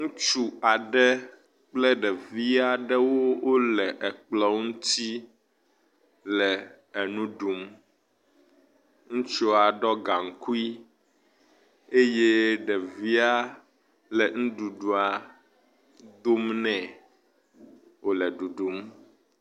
Ŋutsu aɖe kple ɖevi aɖe wole ekplɔ ŋuti le enu ɖum, ŋutsua ɖɔ gaŋkui eye ɖevia le nuɖuɖua dom nɛ wòle ɖuɖum.